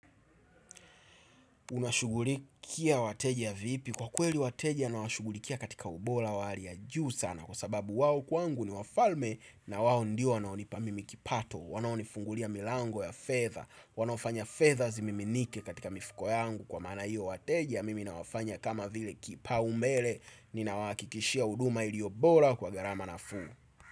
Unashugulikia wateja vipi? Kwa kweli, wateja nawashugulikia katika ubola wali hali ya juu sana kwa sababu wao kwangu, ni wafalme. Na wawo ndio wanaonipa mimi kipato wanaonifungulia milango ya fedha. Wanaofanya fedha zimiminike katika mifuko yangu kwa maana hiyo, wateja mimi nawafanya kama vile kipaumbele. Nina wahakikishia huduma iliyobola kwa gharama nafuu.